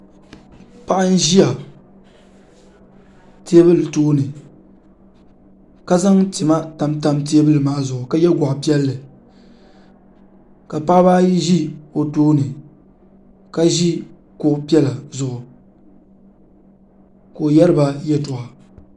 paɣ' n ʒɛya tɛbuli tuuni ka zaŋ tima tamitam tɛbuli maa zuɣ ka yɛ goɣipiɛli ka paɣbaayi ʒɛ o tuuni ka ʒɛ kuɣ' piɛla zʋɣ' ka o yɛriba yɛtoɣ'